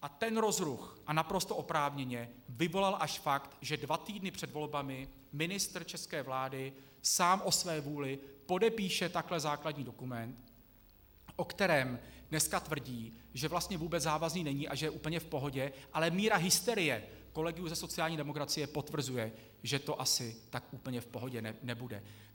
A ten rozruch, a naprosto oprávněně, vyvolal až fakt, že dva týdny před volbami ministr české vlády sám o své vůli podepíše takhle základní dokument, o kterém dnes tvrdí, že vlastně vůbec závazný není a že je úplně v pohodě, ale míra hysterie kolegů ze sociální demokracie potvrzuje, že to asi tak úplně v pohodě nebude.